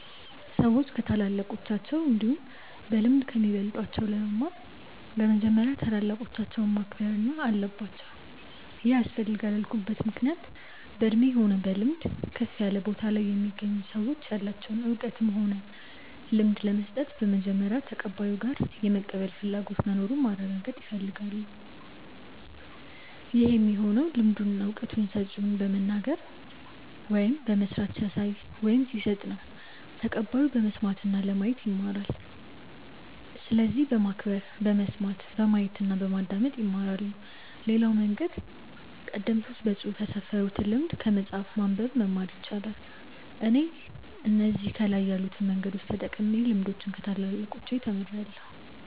ሰዎች ከታላላቆቻቸው እንዲሁም በልምድ ከሚበልጧቸው ለመማር በመጀመሪያ ታላላቆቻቸውን ማክበር አለባቸው ይሄ ያስፈልጋል ያልኩበት ምክንያት በእድሜ ሆነ በልምድ ከፍ ያለ ቦታ ላይ የሚገኙ ሰዎች ያላቸውን እውቀትም ሆነ ልምድ ለመስጠት በመጀመሪያ ተቀባዩ ጋር የመቀበል ፍላጎቱ መኑሩን ማረጋገጥ ይፈልጋሉ ይህ የሚሆነው ልምዱን እና እውቀቱን ሰጪው በመናገር ወይም በመስራት ሲያሳይ ወይም ሲሰጥ ነው ተቀባዩ በመስማት እና ለማየት ይማራል። ስለዚህ በማክበር በመስማት፣ በማየት እና በማዳመጥ ይማራሉ። ሌላው መንገድ ቀደምቶች በፅሁፍ ያስፈሩትን ልምድ ከመጽሐፍ በማንበብ መማር ይቻላል። እኔ እነዚህ ከላይ ያሉትን መንገዶች ተጠቅሜ ልምዶችን ከታላላቆቻች ተምርያለው።